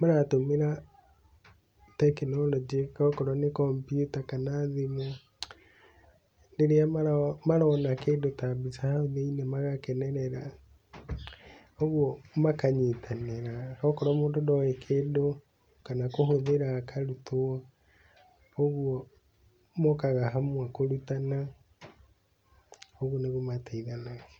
maratũmĩra tekinoronjĩ, okorwo nĩ kompyuta kana thimũ, rĩrĩa marona kĩndũ ta mbica hau thĩiniĩ magakenerera koguo makanyitanĩra, okorwo mũndũ ndoĩ kĩndũ, kana kũhũthĩra akarutwo, ũguo mokaga hamwe kũrutana, ũguo nĩguo mateithanagia.